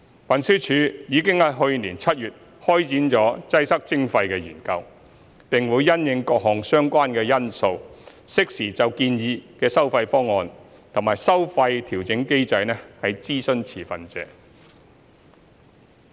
運輸署已於去年7月開展"擠塞徵費"研究，並會因應各項相關因素，適時就建議的收費方案和收費調整機制諮詢持份者。